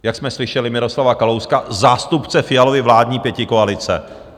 Jak jsme slyšeli Miroslava Kalouska, zástupce Fialovy vládní pětikoalice.